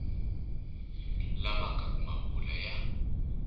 lavaka ku ma vula ya